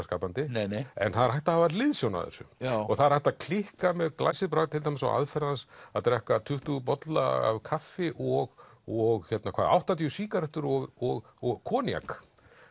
skapandi en það er hægt að hafa hliðsjón af þessu og það er hægt að klikka með glæsibrag til dæmis á aðferð hans að drekka tuttugu bolla af kaffi og og hvað áttatíu sígarettur og og og koníak